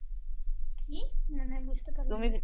কি? মানে বুঝতে পারলাম না